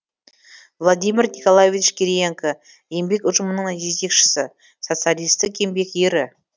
владимир николаевич кириенко еңбек ұжымының жетекшісі социалистік еңбек ері